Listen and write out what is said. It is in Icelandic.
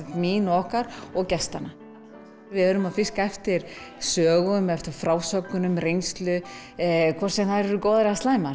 okkar og gestanna við erum að fiska eftir sögum frásögnum reynslu hvort sem þær eru góðar eða slæmar